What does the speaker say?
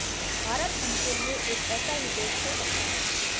भारत उनके लिए एक ऐसा ही देश हो सकता है